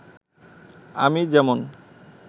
আমি যেমন